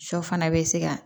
Sɔ fana bɛ se ka